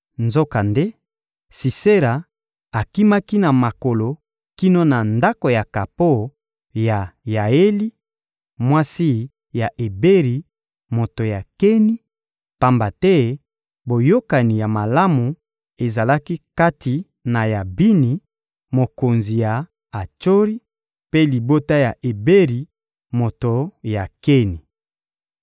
Nzokande, Sisera akimaki na makolo kino na ndako ya kapo ya Yaeli, mwasi ya Eberi, moto ya Keni; pamba te boyokani ya malamu ezalaki kati na Yabini, mokonzi ya Atsori, mpe libota ya Eberi, moto ya Keni.